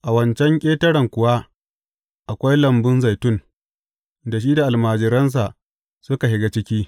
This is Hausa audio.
A wancan ƙetaren kuwa akwai lambun zaitun, da shi da almajiransa suka shiga ciki.